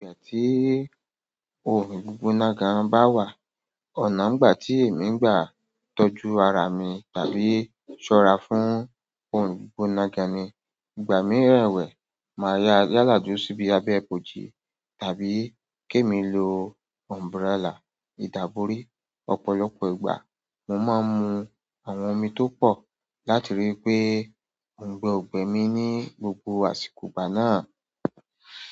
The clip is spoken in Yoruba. Ígbà tí oòrùn gbígbóná gan bá wà, ọ̀nà ń gbà tí èmi ń gbà tọ́jú ara mi tàbí ṣọ́ra fún oòrùn gbígbóná gan ni. Ìgbà mii rẹ́wẹ̀, màá yáa yálà dúró síbi abẹ́ ìbòji tàbí kèmi lo umbrella. Ìdábori ọ̀pọ̀lọpọ̀ ìgbà mo máa ń mu àwọn omi tó pọ̀ láti rí i pé òǹgbẹ ò gbẹ mí ní gbogbo àsìkò ìgbà náà.